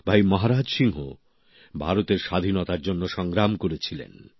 ভাই মহারাজ সিংহ ভারতের স্বাধীনতার জন্য সংগ্রাম করেছিলেন